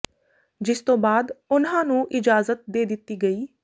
ਜਿਸ ਤੋਂ ਬਾਅਦ ਉਨ੍ਹਾਂ ਨੂੰ ਇਜਾਜ਼ਤ ਦੇ ਦਿੱਤੀ ਗਈ